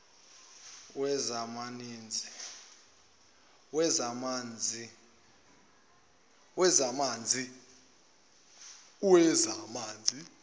wezamanzi